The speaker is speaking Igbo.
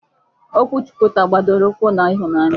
Okwu Chukwu taa gbadoro ụkwụ n'ịhụnanya.